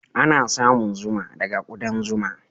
Ana samun zuma daga ƙudan zuma.